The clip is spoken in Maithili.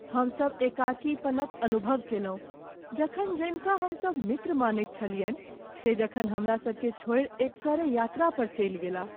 हम सब एकाकीपन क अनुभव केलहुँ जखन जनिका हमसब मित्र मानैत छलियनि से जखन हमरा सबकेँ छोड़ि एकसरे यात्रा पर चलि गेलाह ।